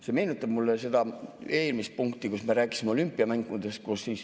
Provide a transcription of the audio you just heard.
See meenutab mulle seda eelmist punkti, kui me rääkisime olümpiamängudest.